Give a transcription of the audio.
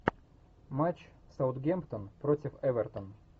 матч саутгемптон против эвертон